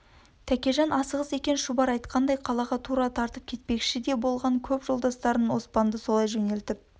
тәкежан асығыс екен шұбар айтқандай қалаға тура тартып кетпекші де болған көп жолдастарын оспанды солай жөнелтіп